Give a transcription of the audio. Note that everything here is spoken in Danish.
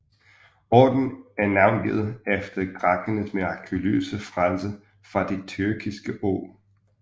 Ordenen er navngivet efter grækernes mirakuløse frelse fra det tyrkiske åg